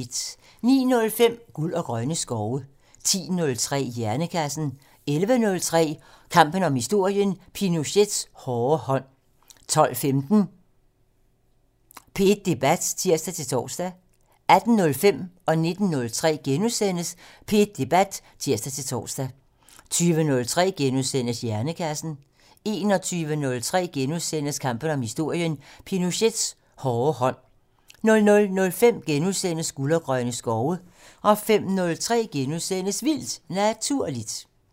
09:05: Guld og grønne skove 10:03: Hjernekassen 11:03: Kampen om historien: Pinochets hårde hånd 12:15: P1 Debat (tir-tor) 18:05: P1 Debat *(tir-tor) 19:03: P1 Debat *(tir-tor) 20:03: Hjernekassen * 21:03: Kampen om historien: Pinochets hårde hånd * 00:05: Guld og grønne skove * 05:03: Vildt Naturligt *